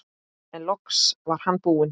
En loks var hann búinn.